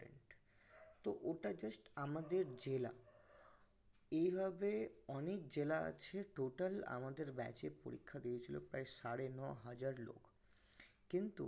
তহ ওটা just আমাদের জেলা এভাবে অনেক জেলা আছে total আমাদের এ পরীক্ষা দিয়েছিল প্রায় সাড়ে ন হাজার লোক কিন্তু